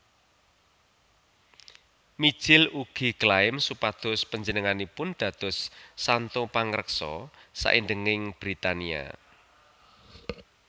Mijil ugi klaim supados panjenenganipun dados santo pangreksa saindhenging Britania